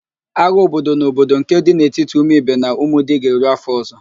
Agha obodo na obodo nke dị n'etiti Umuibe na Umudi ga-eru afọ ọzọ